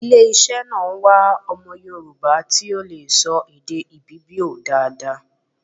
Ile iṣẹ́ náà ń wá ọmọ Yorùbá ti ó lè sọ èdè Ibibio dáadáa